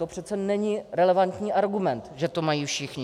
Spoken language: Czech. To přece není relevantní argument, že to mají všichni.